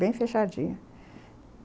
Bem fechadinha.